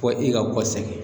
Ko i ka bɔ segin.